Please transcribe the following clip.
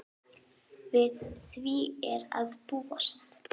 Við því er að búast.